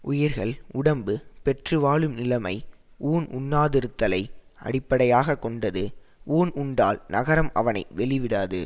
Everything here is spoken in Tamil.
உயிர்கள் உடம்பு பெற்று வாழும் நிலைமை ஊன் உண்ணாதிருத்தலை அடிப்படையாக கொண்டது ஊன் உண்டால் நரகம் அவனை வெளிவிடாது